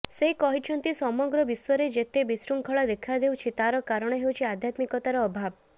ସେ କହିଛନ୍ତି ସମଗ୍ର ବିଶ୍ୱରେ ଯେତେ ବିଶୃଙ୍ଖଳା ଦେଖାଦେଉଛି ତାର କାରଣ ହେଉଛି ଆଧ୍ୟାତ୍ମିକତାର ଅଭାବ